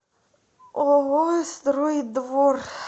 ооо строй двор